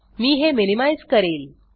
मी हे मिनिमाइज़ करेल